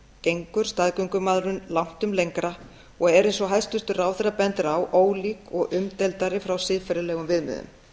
gengur staðgöngumæðrun langtum lengra og er eins og hæstvirtur ráðherra bendir á ólík og umdeildari frá siðferðilegum viðmiðum